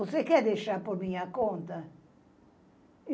Você quer deixar por minha conta?